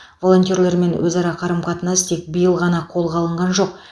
волонтерлермен өзара қарым қатынас тек биыл ғана қолға алынған жоқ